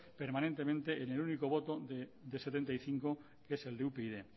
permanentemente en el único voto de setenta y cinco que es el de upyd